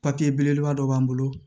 Papiye belebeleba dɔ b'an bolo